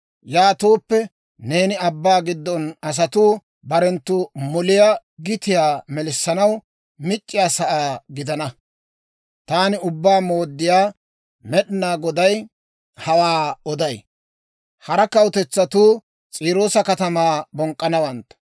Yaatooppe neeni abbaa gidon asatuu Barenttu moliyaa gitiyaa melissanaw mic'c'iyaa sa'aa gidana. Taani Ubbaa Mooddiyaa Med'inaa Goday hawaa oday. Hara kawutetsatuu S'iiroosa katamaa bonk'k'anawantta.